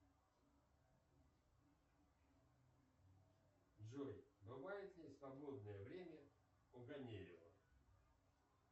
джой бывает ли свободное время у ганеева